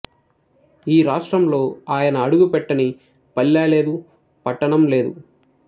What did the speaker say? ఈ రాష్ట్రంలో ఆయన అడుగుపెట్టని పల్లె లేదు పట్టణం లేదు